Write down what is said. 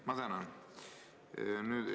Ma tänan!